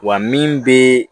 Wa min bɛ